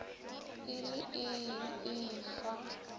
e le ee e fa